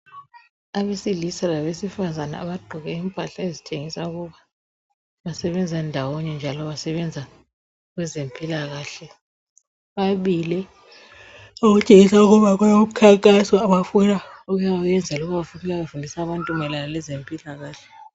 Abesilisa labesifazana abagqoke impahla ezitshengisa ukuba basebenza ndawonye njalo basebenza kwezempikakahle bamili okutshengisa ukuba kulomkhankaso abafuna ukuyayenza loba bafuna ukufundisa abantu mayelana lezempilakahle.